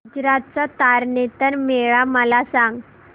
गुजरात चा तारनेतर मेळा मला सांग